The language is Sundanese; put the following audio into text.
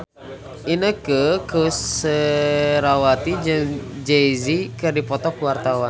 Inneke Koesherawati jeung Jay Z keur dipoto ku wartawan